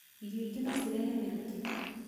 Irĩo ingĩ no cirehe mĩrukĩ.